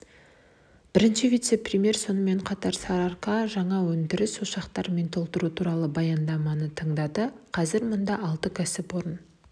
бірінші вице-премьер сонымен қатар сарыарка жаңа өндіріс ошақтарымен толтыру туралы баяндаманы тыңдады қазір мұнда алты кәсіпорын